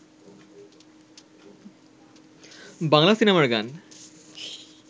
বাংলা সিনেমার গান